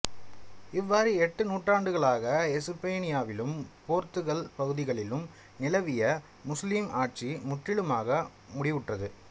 இவ்வாறு எட்டு நூற்றாண்டுகளாக எசுப்பானியாவிலும் போர்த்துகல் பகுதிகளிலும் நிலவிய முசுலீம் ஆட்சி முற்றிலுமாக முடிவுற்றது